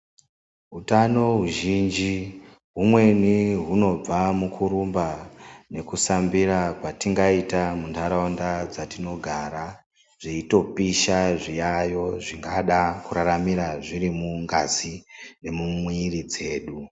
Utano huzhinji humweni hunobva mukurumba nekusambira kwatingaita muntaraunda dzatinogara dzeitopisha zviyayo zvingada kuraramira zviri mungazi yemumwiri dzedu.